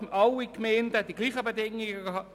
Alle Gemeinden sollen die gleichen Bedingungen haben.